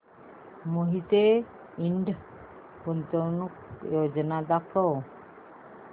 मोहिते इंड गुंतवणूक योजना दाखव